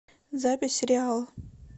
запись реал